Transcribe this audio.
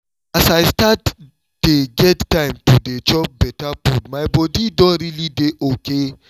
as i start dye get time to dey chop better food my body don realy dey okay